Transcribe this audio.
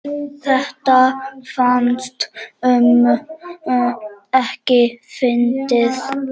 Þetta fannst ömmu ekki fyndið.